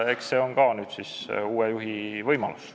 Eks see ole nüüd ka uue juhi võimalus.